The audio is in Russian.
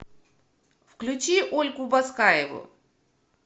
включи ольгу баскаеву